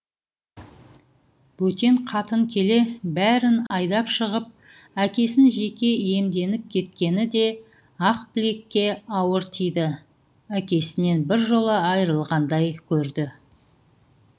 бөтен қатын келе бәрін айдап шығып әкесін жеке иемденіп кеткені де ақбілекке ауыр тиді әкесінен біржола айырылғандай көрді